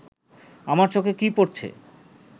আমার চোখে কি পড়ছে